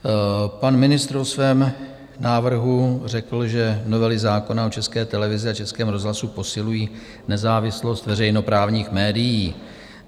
Pan ministr o svém návrhu řekl, že novely zákona o České televizi a Českém rozhlasu posilují nezávislost veřejnoprávních médií.